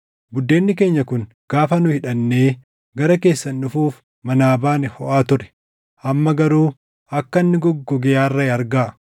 Buddeenni keenya kun gaafa nu hidhannee gara keessan dhufuuf manaa baane hoʼaa ture. Amma garuu akka inni goggogee arraaʼe argaa.